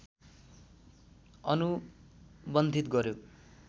अनुबन्धित गर्‍यो